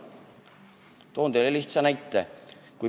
Toon teile lihtsa näite.